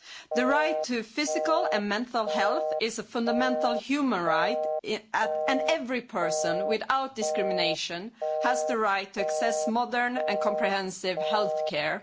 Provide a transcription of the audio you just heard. The right to physical and mental health is a fundamental human right and every person, without discrimination, has the right to access modern and comprehensive healthcare.